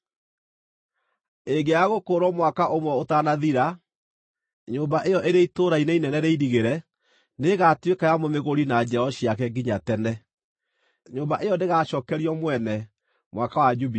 Ĩngĩaga gũkũũrwo mwaka ũmwe ũtanathira, nyũmba ĩyo ĩrĩ itũũra-inĩ inene rĩirigĩre nĩĩgatuĩka ya mũmĩgũri na njiaro ciake nginya tene. Nyũmba ĩyo ndĩgaacookerio mwene Mwaka wa Jubilii.